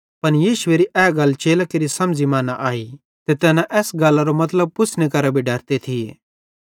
पन यीशुएरी ए गल चेलां केरि समझ़ी मां न आई ते तैना एस गल्लारो मतलब पुछ़्ने केरां भी डरते थिये